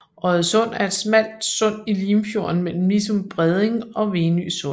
Oddesund er et smalt sund i Limfjorden mellem Nissum Bredning og Venø Sund